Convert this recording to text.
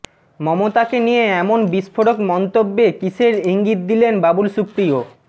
মমতাকে নিয়ে এমন বিস্ফোরক মন্তব্যে কীসের ইঙ্গিত দিলেন বাবুল সুপ্রিয়